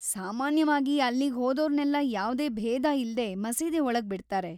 ಸಾಮಾನ್ಯವಾಗಿ, ಅಲ್ಲಿಗ್‌ ಹೋದೋರ್ನೆಲ್ಲ ಯಾವ್ದೇ ಭೇದ ಇಲ್ದೇ ಮಸೀದಿ ಒಳಗ್‌ ಬಿಡ್ತಾರೆ.